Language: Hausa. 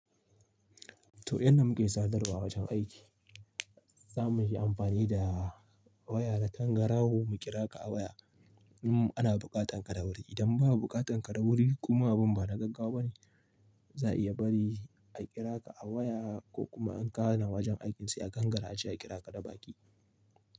To, yadda muke sadarwa a wajen aiki, za mu yi amfani da waya da tangaraho mu kira ka a waya. Idan ana buƙatan ka da wuri. Idan ba buƙatan ka da wuri kuma abun bana gaggawa bane, za a iya bari a kira ka a waya ko kuma in ka hana wajen aikin su a gangara aje a kira ka da baki.